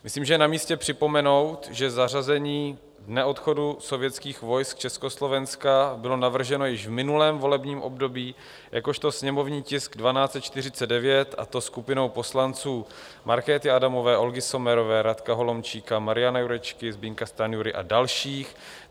Myslím, že je namístě připomenout, že zařazení Dne odchodu sovětských vojsk z Československa bylo navrženo již v minulém volebním období jakožto sněmovní tisk 1249, a to skupinou poslanců Markéty Adamové, Olgy Sommerové, Radka Holomčíka, Mariana Jurečky, Zbyňka Stanjury a dalších.